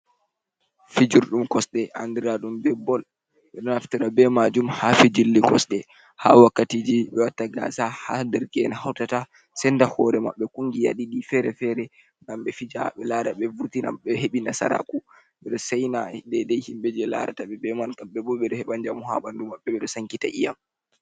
Fijurɗum kosɗe andira ɗum bipbol ɓeɗo naftira majum ha wakkati gasa dereke’en sendirta hore maɓɓe kungiya ɗiɗi fere fere ngam vurtina heɓa nasara ku ɓeɗo saina himɓe je larata kaɓe bo ɓeɗo heɓa njamu ha ɓandu maɓɓe ɓeɗo sankita i'am.